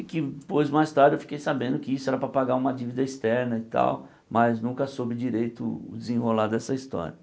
Que depois, mais tarde, eu fiquei sabendo que isso era para pagar uma dívida externa e tal, mas nunca soube direito o desenrolar dessa história.